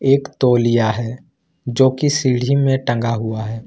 एक तौलिया है जो कि सीढ़ी में टंगा हुआ है।